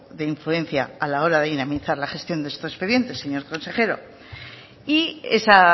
de influencia a la hora de dinamizar la gestión de estos expedientes señor consejero y esa